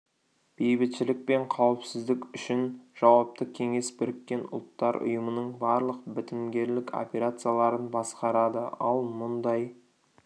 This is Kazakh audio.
бейбітшілік пен қауіпсіздік үшін жауапты кеңес біріккен ұлттар ұйымының барлық бітімгерлік операцияларын басқарады ал мұндай